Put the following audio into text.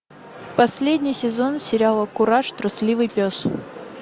последний сезон сериала кураж трусливый пес